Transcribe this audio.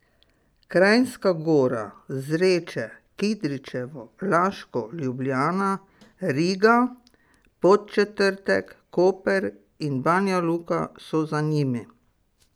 Kranjska Gora, Zreče, Kidričevo, Laško, Ljubljana, Riga, Podčetrtek, Koper in Banjaluka so za njimi.